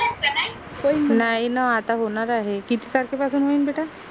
नाई न आता होनार आहे किती तारखे पासून होईन बेटा?